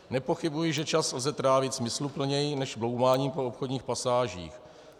Nepochybuji, že čas lze trávit smysluplněji než bloumáním po obchodních pasážích.